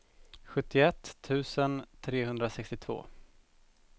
sjuttioett tusen trehundrasextiotvå